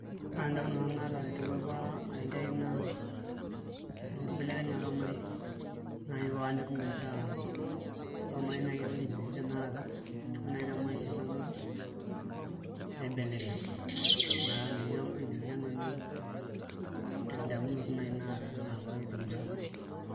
Ore endamunoto naata apa aiteru ara enkerai naa enkibelekenyata ormarei naai paanyok metaa ore ormarei ewueji netii tanakata ore naai te maisha nalotu naibelekeny metaa ninye nanu endamunoto naai naata enaapake temusano.